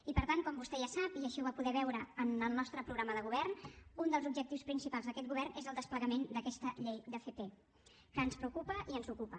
i per tant com vostè ja sap i així va ho va poder veure en el nostre programa de govern un dels objectius principals d’aquest govern és el desplegament d’aquesta llei d’fp que ens preocupa i ens ocupa